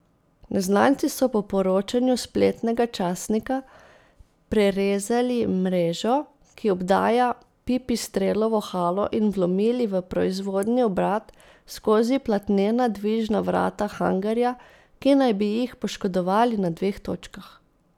Neznanci so po poročanju spletnega časnika prerezali mrežo, ki obdaja Pipistrelovo halo, in vlomili v proizvodni obrat skozi platnena dvižna vrata hangarja, ki naj bi jih poškodovali na dveh točkah.